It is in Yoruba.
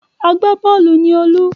Agbá-bọ́ọ́lù ni Olú.